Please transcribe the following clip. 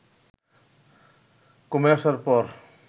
কমে আসার পর